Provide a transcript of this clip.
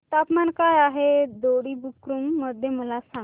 तापमान काय आहे दोडी बुद्रुक मध्ये मला सांगा